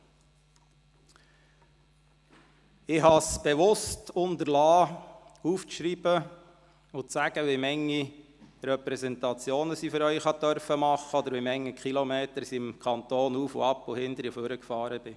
Ich habe es bewusst unterlassen, mir aufzuschreiben, wie viele Repräsentationen ich für Sie machen durfte oder wie viele Kilometer ich den Kanton hoch- und runtergefahren bin.